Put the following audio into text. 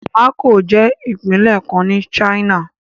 Macao jẹ́ ìpínlẹ̀ kan ní China.